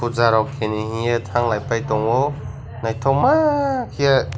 puja rok khainei hiye thanglai phai taongo naithokma kheye.